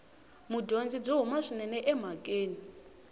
mudyondzi byi huma swinene emhakeni